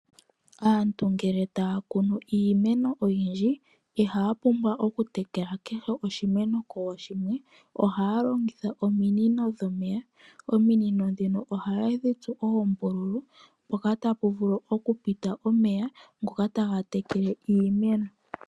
Aantu ngele taya kunu iimeno oyindji ihaya pumbwa oku tekela oshimeno kooshinwe nooshimwe ohaya longitha ominino dhomeya. Ominino ndhino ohaye dhi tsu oombululu mpoka tapu vulu okupita omeya ngoka taga tekele iimeno.